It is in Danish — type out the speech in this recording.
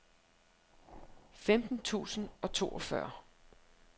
femten tusind og toogfyrre